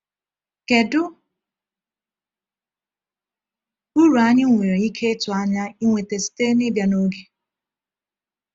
Kedu uru anyị nwere ike ịtụ anya ịnweta site n’ịbịa n’oge?